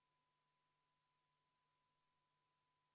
Eesti Konservatiivse Rahvaerakonna fraktsiooni palutud vaheaeg on lõppenud.